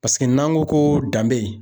Paseke n'an ko ko danbe.